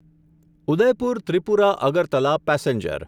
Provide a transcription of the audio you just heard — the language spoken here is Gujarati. ઉદયપુર ત્રિપુરા અગરતલા પેસેન્જર